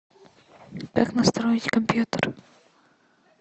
как настроить компьютер